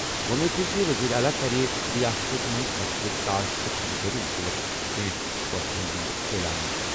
وۄمید چھِ زِ وزیر اعلیٰ کَرِ رِیاستَس منٛز فصلٕچ کاشت تہٕ خٔریٖدٲری مُتعلِق کینٛہہ فٲصلَن ہُنٛد اعلان۔